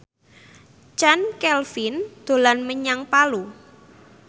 Chand Kelvin dolan menyang Palu